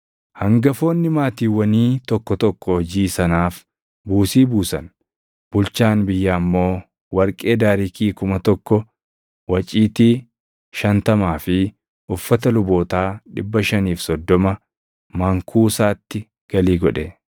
Hangafoonni maatiiwwanii tokko tokko hojii sanaaf buusii buusan. Bulchaan biyyaa immoo warqee daariikii + 7:70 Daariikiin tokko giraamii 8. 1,000, waciitii 50 fi uffata lubootaa 530 mankuusaatti galii godhe.